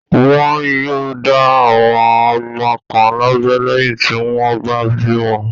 Wọn yóò dá àwọn ọmọ kan lábẹ́ lẹ́yìn tí wọ́n bá bí wọn.